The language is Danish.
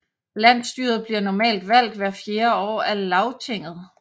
Landsstyret bliver normalt valgt hvert fjerde år af Lagtinget